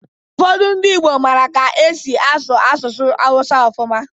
Ụfọdụ ndị Igbo mara ka e si asụ asụsụ Hausa ọfụma